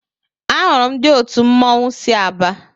Ahụrụ ndị òtù mmọnwụ sị Aba.